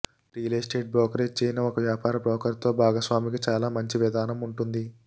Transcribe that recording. real estate brokerage చేయని ఒక వ్యాపార బ్రోకర్తో భాగస్వామికి చాలా మంచి విధానం ఉంటుంది